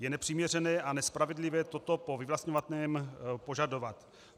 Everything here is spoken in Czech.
Je nepřiměřené a nespravedlivé toto po vyvlastňovaném požadovat.